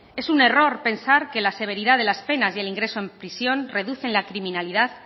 es un error pensar que la severidad de las penas y el ingreso en prisión reducen la criminalidad